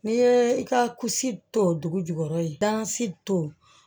N'i ye i ka kusi to dugu jukɔrɔ i si to